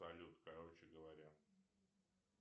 салют короче говоря